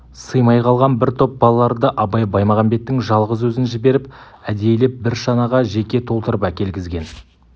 сыймай қалған бір топ балаларды абай баймағамбеттің жалғыз өзін жіберіп әдейілеп бір шанаға жеке толтырып әкелгізген